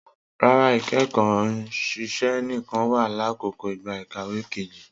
Rara, ikẹkọ iṣẹ nikan wa lakoko igba ikawe keji